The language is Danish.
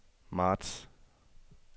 marts